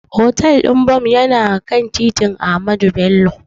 Hotel ɗin Bon yana kan titin Ahmadu Bello.